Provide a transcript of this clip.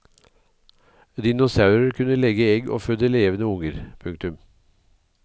Dinosaurer kunne legge egg og føde levende unger. punktum